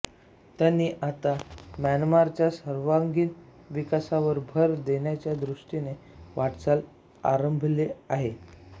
त्यांनी आता म्यानमारच्या सर्वांगीण विकासावर भर देण्याच्या दृष्टीने वाटचाल आरंभेली आहे